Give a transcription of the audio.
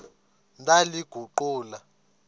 ndaliguqula